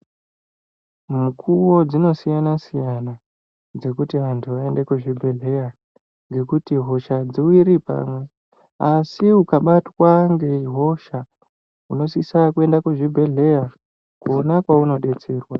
Mukuwo dzinosiyana siyana dzekuti vanthu vaende kuzvibhedhleya ngekuti hosha adziwiri pamwe asi ukabatwa ngehosha unosisa kuenda kuzvibhedhleya kona kwaunodetserwa.